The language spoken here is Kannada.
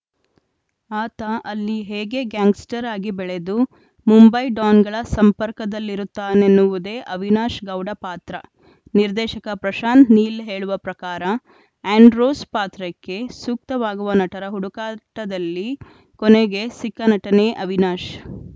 ಆತ ಅಲ್ಲಿ ಹೇಗೆ ಗ್ಯಾಂಗ್‌ಸ್ಟರ್‌ ಆಗಿ ಬೆಳೆದು ಮುಂಬೈ ಡಾನ್‌ಗಳ ಸಂಪರ್ಕದಲ್ಲಿರುತ್ತಾನೆನ್ನುವುದೇ ಅವಿನಾಶ್‌ ಗೌಡ ಪಾತ್ರ ನಿರ್ದೇಶಕ ಪ್ರಶಾಂತ್‌ ನೀಲ್‌ ಹೇಳುವ ಪ್ರಕಾರ ಆ್ಯಂಡ್ರೋಸ್‌ ಪಾತ್ರಕ್ಕೆ ಸೂಕ್ತವಾಗುವ ನಟರ ಹುಡುಕಾಟದಲ್ಲಿ ಕೊನೆಗೆ ಸಿಕ್ಕ ನಟನೇ ಅವಿನಾಶ್‌